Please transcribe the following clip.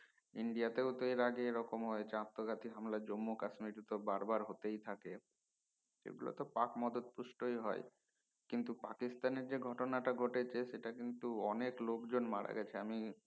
India তো এর আগে এই রকম হয়েছে আত্মঘাতীক হামলা জম্মু কাশ্মীরে তো বার বার হতেই থাকে এগুলো তো পাকমদুদ পুষ্টই হয় কিন্তু পাকিস্তানের যে ঘটনাটা ঘটেছে সেটা কিন্তু অনেক লোকজন মারা গেছে আমি